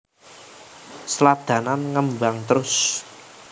Sladanan ngembang trus